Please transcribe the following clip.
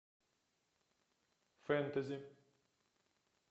фэнтези